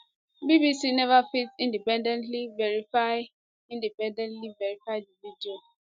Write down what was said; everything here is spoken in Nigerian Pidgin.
bbc neva fit independently verify independently verify di video